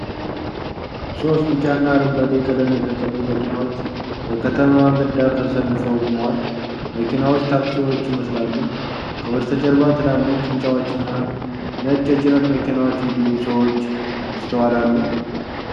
ሶስት ቢጫና አረንጓዴ ቀለም የተቀቡ መኪናዎች በከተማ መንገድ ዳር ተሰልፈው ቆመዋል። መኪናዎቹ ታክሲዎች ይመስላሉ። ከበስተጀርባ ትላልቅ ሕንፃዎችና ነጭ የጭነት መኪናዎች እንዲሁም ሰዎች ይስተዋላሉ።